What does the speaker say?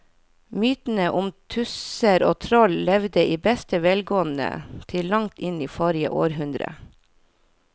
Mytene om tusser og troll levde i beste velgående til langt inn i forrige århundre.